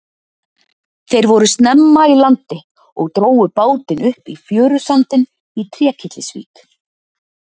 Þeir voru snemma í landi og drógu bátinn upp í fjörusandinn í Trékyllisvík.